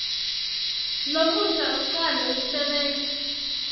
lomusha ucale kusebenta